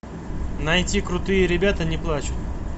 найти крутые ребята не плачут